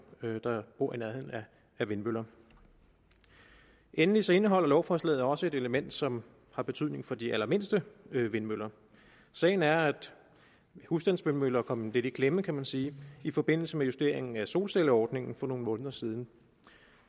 der bor i nærheden af vindmøller endelig indeholde lovforslaget også et element som har betydning for de allermindste vindmøller sagen er at husstandsvindmøller kom lidt i klemme kan man sige i forbindelse med justeringen af solcelleordningen for nogle måneder siden og